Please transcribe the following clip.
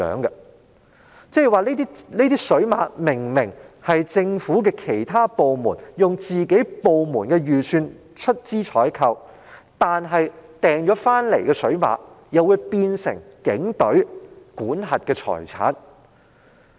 那即是說，這些水馬明明是其他政府部門以本身預算出資採購的物品，但購入的水馬卻竟變成警隊管轄的財產。